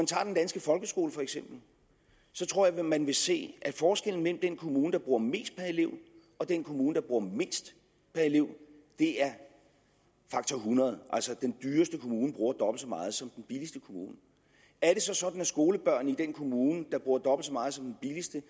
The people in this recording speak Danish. tager den danske folkeskole tror jeg at man vil se at forskellen mellem den kommune der bruger mest per elev og den kommune der bruger mindst per elev er faktor hundrede altså at den dyreste kommune bruger dobbelt så meget som den billigste kommune er det så sådan at skolebørnene i den kommune der bruger dobbelt så meget som den billigste